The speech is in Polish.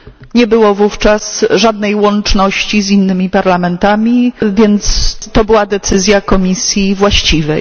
Nie było wówczas żadnej łączności z innymi parlamentami, więc to była decyzja komisji właściwej.